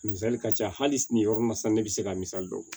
Misali ka ca hali sini nin yɔrɔ in na sisan ne bɛ se ka misali dɔ bɔ